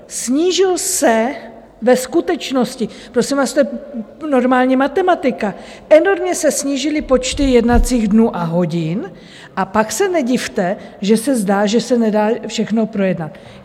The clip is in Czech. Snížil se ve skutečnosti, prosím vás, to je normální matematika, enormně se snížily počty jednacích dnů a hodin, a pak se nedivte, že se zdá, že se nedá všechno projednat.